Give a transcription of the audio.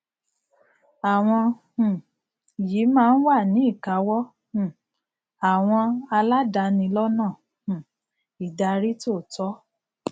àwọn um yìí máa wà ní ìkáwọ um àwọn aládani lọnà um ìdarí tòótọ